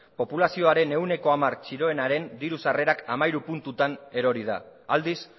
populazioaren ehuneko hamar txiroarenaren diru sarrerak hamairu puntutan erori da aldiz